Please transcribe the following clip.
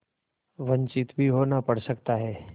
वंचित भी होना पड़ सकता है